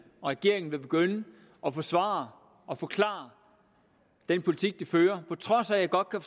og regeringen snart vil begynde at forsvare og forklare den politik de fører på trods af at jeg godt kan